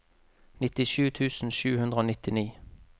nittisju tusen sju hundre og nittini